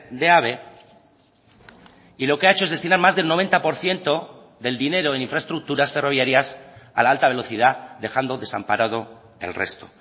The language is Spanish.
de ave y lo que ha hecho es destinar más del noventa por ciento del dinero en infraestructuras ferroviarias a la alta velocidad dejando desamparado el resto